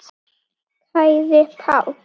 Kæri Páll.